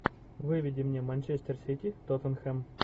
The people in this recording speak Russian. выведи мне манчестер сити тоттенхэм